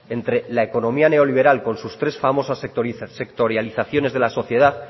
entre la economía neoliberal con sus tres famosas sectorializaciones de la sociedad